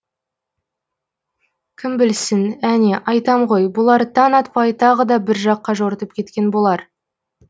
кім білсін әне айтам ғой бұлар таң атпай тағы да бір жаққа жортып кеткен болар